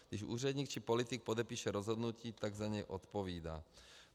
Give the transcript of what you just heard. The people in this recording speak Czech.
Když úředník či politik podepíše rozhodnutí, tak za něj odpovídá.